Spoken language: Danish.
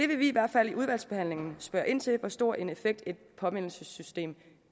vil vi i hvert fald i udvalgsbehandlingen spørge ind til hvor stor en effekt et påmindelsessystem